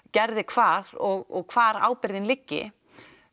gerði hvað og hvar ábyrgðin liggi